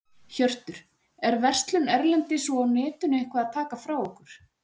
Hjörtur: Er verslun erlendis og á netinu eitthvað að taka frá okkur?